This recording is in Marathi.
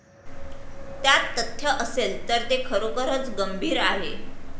त्यात तथ्य असेल तर ते खरोखरच गंभीर आहे.